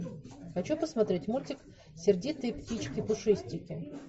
хочу посмотреть мультик сердитые птички пушистики